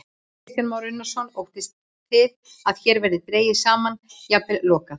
Kristján Már Unnarsson: Óttist þið að hér verði dregið saman, jafnvel lokað?